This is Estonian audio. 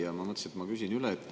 Ja ma mõtlesin, et ma küsin üle.